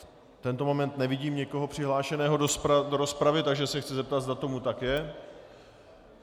V tento moment nevidím nikoho přihlášeného do rozpravy, takže se chci zeptat, zda tomu tak je.